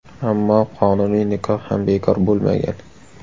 Ammo qonuniy nikoh ham bekor bo‘lmagan.